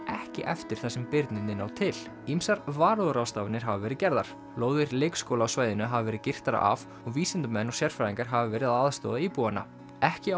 ekki eftir þar sem birnirnir ná til ýmsar varúðarráðstafanir hafa verið gerðar lóðir leikskóla á svæðinu hafa verið girtar af og vísindamenn og sérfræðingar hafa verið að aðstoða íbúana ekki